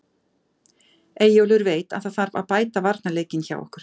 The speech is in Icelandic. Eyjólfur veit að það þarf að bæta varnarleikinn hjá okkur.